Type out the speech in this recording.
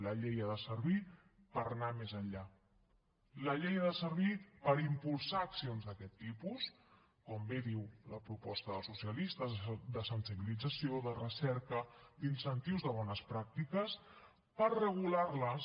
la llei ha de servir per anar més enllà la llei ha de servir per impulsar accions d’aquest tipus com bé diu la proposta dels socialistes de sensibilització de recerca d’incentius de bones pràctiques per regularles